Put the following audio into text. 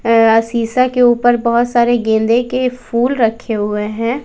शीशा के ऊपर बहोत सारे गेंदे के फूल रखे हुए हैं।